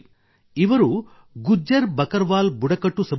ಇವರು ಗುಜ್ಜರ್ ಬಕರ್ವಾಲ್ ಸಮುದಾಯಕ್ಕೆ ಸೇರಿದವರಾಗಿದ್ದಾರೆ